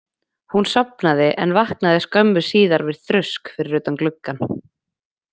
Hún sofnaði en vaknaði skömmu síðar við þrusk fyrir utan gluggann.